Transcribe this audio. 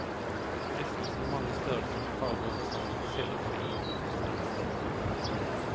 Fristelser i mange størrelser, farver og fasonger sildrer forbi i titusenvis.